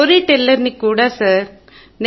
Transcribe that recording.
story teller ని కూడా sir